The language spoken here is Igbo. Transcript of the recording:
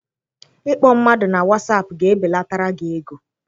Ịkpọ mmadụ na watsap ga ebelatara gị ego.